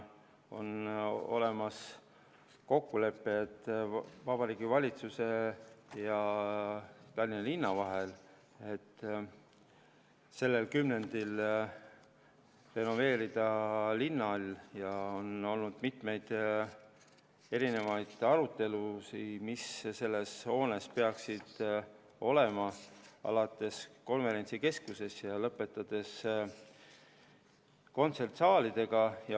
On olemas kokkulepe, et Vabariigi Valitsuse ja Tallinna linna vahel, et renoveerida linnahall sellel kümnendil, ja on olnud mitmeid erinevaid arutelusid, mis selles hoones peaks olema, alates konverentsikeskusest ja lõpetades kontsertsaalidega.